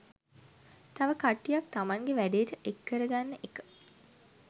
තව කට්ටියක් තමන්ගෙ වැඩේට එක් කරගන්න එක